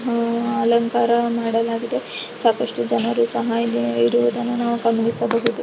ಹೂವಿನ ಅಲಂಕಾರ ಮಾಡಲಾಗಿದೆ ಸಾಕಷ್ಟು ಜನರು ಸಹ ಇಲ್ಲಿ ಇರುವದನ್ನು ನಾವು ಗಮನಿಸಬಹುದು.